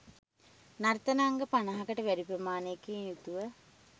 නර්තන අංග පනහකට වැඩි ප්‍රමාණයකින් යුතුව